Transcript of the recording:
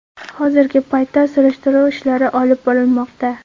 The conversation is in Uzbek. Hozirgi paytda surishtiruv ishlari olib borilmoqda.